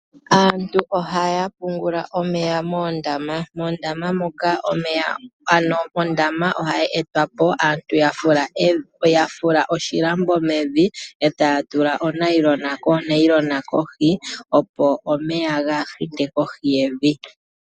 Aantu ohaya pungula omeya moondama, ano ondama ohayi etwa po aantu ya fula oshilambo mevi etaya tula onayilona kohi, opo omeya kaaga hite kohi yevi